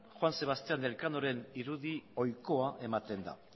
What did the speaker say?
juan sebastian elkanoren irudi ohikoa ematen da